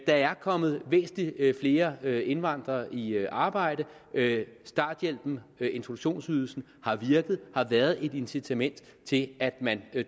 er kommet væsentlig flere flere indvandrere i arbejde starthjælpen introduktionsydelsen har virket har været et incitament til at man har